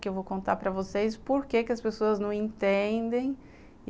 Que eu vou contar para vocês por que que as pessoas não entendem.